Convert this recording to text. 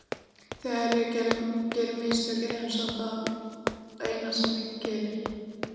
Þegar ég geri mistök er eins og það sé það eina sem ég geri.